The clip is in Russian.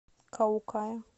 каукая